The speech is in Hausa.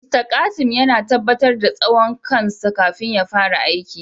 "Mr Kasim" yana tabatar da tsawon kan sa kafin ya fara aiki.